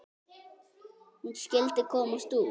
Hún skyldi komast út!